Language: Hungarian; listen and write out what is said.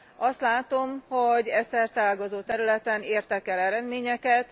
Azt látom, hogy e szerteágazó területen értek el eredményeket.